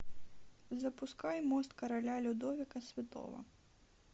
запускай мост короля людовика святого